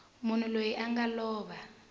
munhu loyi a nga lova